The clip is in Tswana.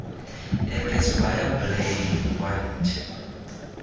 ek is baie bly want